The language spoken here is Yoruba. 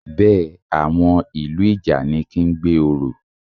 Bẹ́ẹ̀, àwọn ìlú ìjànikin ń gbé orò